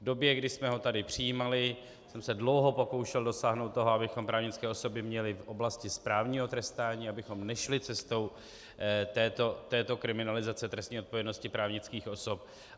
V době, kdy jsme ho tady přijímali, jsem se dlouho pokoušel dosáhnout toho, abychom právnické osoby měli v oblasti správního trestání, abychom nešli cestou této kriminalizace trestní odpovědnosti právnických osob.